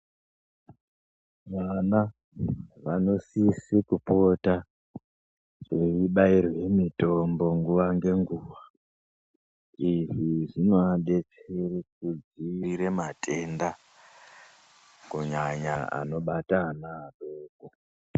Vana vano sise kupota vaibairwe mitombo nguva ngenguva izvi zvinoadetsere kudzivirira matenda kunyanya anobata ana adoko.